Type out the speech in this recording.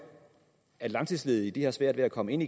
at langtidsledige har svært ved at komme ind